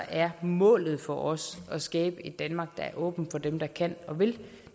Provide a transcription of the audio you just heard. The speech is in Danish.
er målet for os at skabe et danmark der er åbent for dem der kan og vil